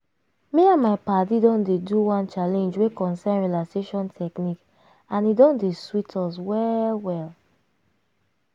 me and my padi don dey do one challenge wey concern relaxation technique and e don dey sweet us well well.